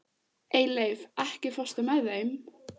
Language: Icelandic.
Eyleif, ekki fórstu með þeim?